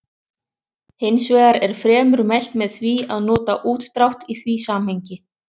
Hins vegar er fremur mælt með því að nota útdrátt í því samhengi.